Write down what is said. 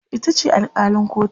itace alkalin kotun